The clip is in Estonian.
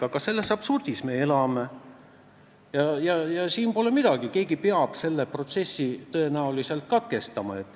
Aga selles absurdis me elame ja siin pole muud midagi, kui et keegi peab selle protsessi tõenäoliselt katkestama.